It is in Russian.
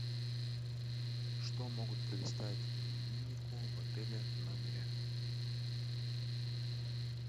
что могут предоставить имениннику в отеле в номере